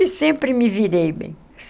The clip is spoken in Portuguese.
E sempre me virei bem.